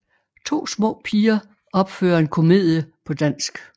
To små piger opfører en komedie på dansk